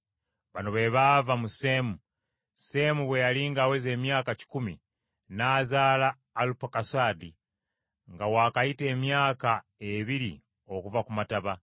Bino bye bifa ku b’olulyo lwa Seemu: Seemu bwe yali ng’aweza emyaka kikumi, n’azaala Alupakusaadi nga wakayita emyaka ebiri okuva ku mataba.